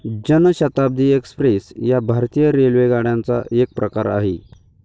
जन शताब्दी एक्स्प्रेस या भारतीय रेल्वेगाड्यांचा एक प्रकार आहे.